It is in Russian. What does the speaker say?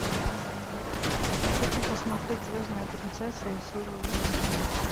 хочу посмотреть звездная принцесса и силы зла